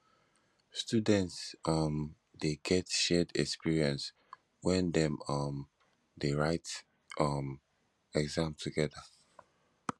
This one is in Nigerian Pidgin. students um de get shared experience when dem um de write um exam together